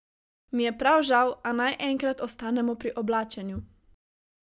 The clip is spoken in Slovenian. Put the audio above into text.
Mi je prav žal, a naj enkrat ostanemo pri oblačenju.